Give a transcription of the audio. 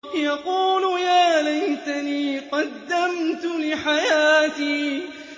يَقُولُ يَا لَيْتَنِي قَدَّمْتُ لِحَيَاتِي